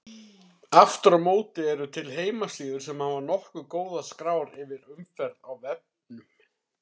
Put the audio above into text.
Aftur á móti eru til heimasíður sem hafa nokkuð góðar skrár yfir umferð á vefnum.